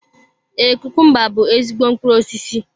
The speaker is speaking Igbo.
Ee, kukumba bú ezigbo mkpụrụ osisi.